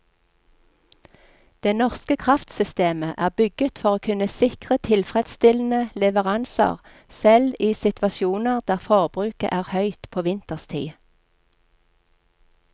Det norske kraftsystemet er bygget for å kunne sikre tilfredsstillende leveranser selv i situasjoner der forbruket er høyt på vinterstid.